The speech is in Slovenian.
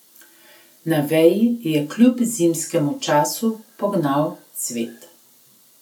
Na veji je kljub zimskemu času pognal cvet.